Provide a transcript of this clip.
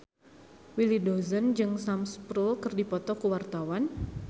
Willy Dozan jeung Sam Spruell keur dipoto ku wartawan